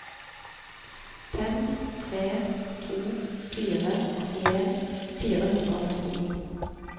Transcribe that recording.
fem tre to fire åttien fire hundre og trettini